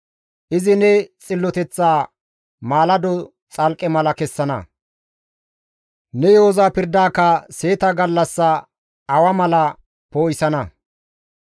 Izi ne xilloteththa maalado xalqqe mala kessana; ne yo7oza pirdaaka seeta gallassa awa mala poo7isana.